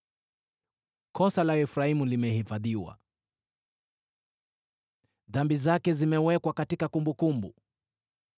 Kosa la Efraimu limehifadhiwa, dhambi zake zimewekwa katika kumbukumbu.